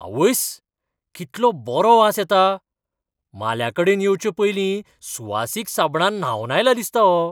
आवयस्स, कितलो बरो वास येता. म्हाल्याकडेन येवचे पयलीं सुवासीक साबणान न्हावन आयला दिसता हो.